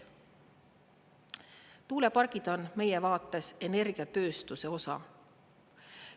Tuulepargid on meie vaates energiatööstuse osa.